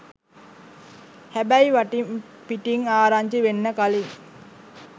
හැබැයි වටින් පිටින් ආරංචි වෙන්න කලින්